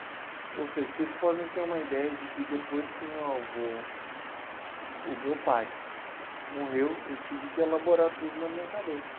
Ou seja, vocês podem ter uma ideia de que depois que o meu avô, o meu pai morreu, eu tive que elaborar tudo na minha cabeça.